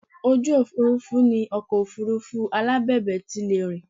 Ojú òfuurufú ni ọkọ̀ Òfurufú alábẹ̀bẹ̀ ti lè rìn